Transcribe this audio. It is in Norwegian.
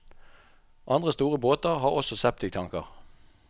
Andre store båter har også septiktanker.